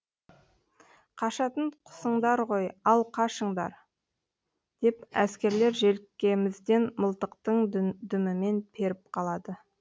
қашатын қусыңдар ғой ал қашыңдар деп әскерлер желкемізден мылтықтың дүмімен періп қалады